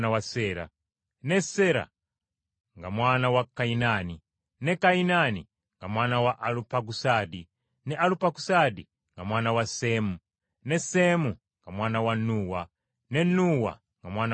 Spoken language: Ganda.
ne Sera nga mwana wa Kayinaani, ne Kayinaani nga mwana wa Alupakusaadi, ne Alupakusaadi nga mwana wa Seemu, ne Seemu nga mwana wa Nuuwa, ne Nuuwa nga mwana wa Lameka,